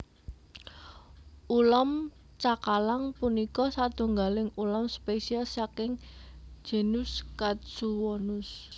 Ulam cakalang punika satunggaling ulam spesies saking genus Katsuwonus